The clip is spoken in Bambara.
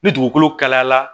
Ni dugukolo kalayala